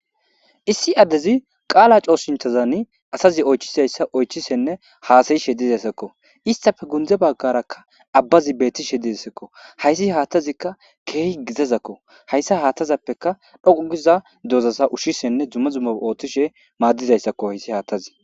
Issi addezi qaala cooshinthazani asazi oychizayssa oychisenne haasayishe dizayssakko. Istappe gunde baggarakka abbazi beettishe dizassakko. hayssi haathazikka keehi gizazakko hayssa haatazappeka dhoqu giza dozasa ushshisenne dume dumma ooththishe maaddizayssakko hayssi haathazi.